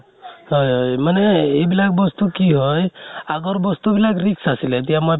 হয় হয় । মানে এইবিলাক বস্তু কি হয়, আগৰ বস্তু বিলাক risk আছিলে । এতিয়া মই